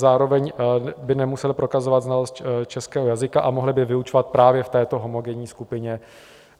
Zároveň by nemuseli prokazovat znalost českého jazyka a mohli by vyučovat právě v této homogenní skupině.